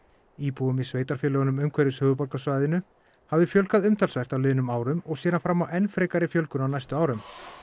íbúum í sveitarfélögum umhverfis höfuðborgarsvæðinu hafi fjölgað umtalsvert á liðnum árum og sér hann fram á enn frekari fjölgun á næstu árum